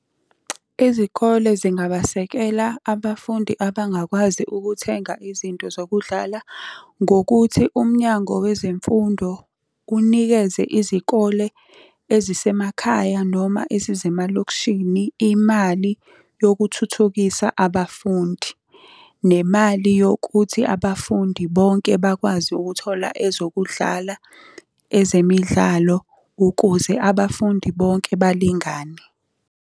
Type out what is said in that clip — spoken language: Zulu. Izikole zingabasekela abafundi abangakwazi ukuthenga izinto zokudlala, ngokuthi uMnyango Wezemfundo unikeze izikole ezisemakhaya noma ezisemalokishini imali yokuthuthukisa abafundi. Nemali yokuthi abafundi bonke bakwazi ukuthola ezokudlala ezemidlalo, ukuze abafundi bonke balingane.